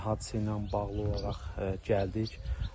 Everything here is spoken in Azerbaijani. Hadisə ilə bağlı olaraq gəldik.